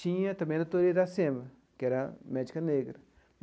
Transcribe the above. Tinha também a doutora Iracema, que era médica negra.